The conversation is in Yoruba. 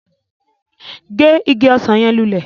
Ge ìgi ọsan yẹn lulẹ!